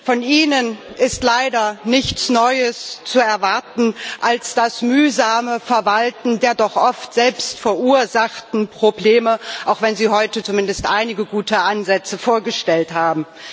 Von Ihnen ist leider nichts Neues zu erwarten als das mühsame Verwalten der doch oft selbstverursachten Probleme, auch wenn Sie heute zumindest einige gute Ansätze vorgestellt haben.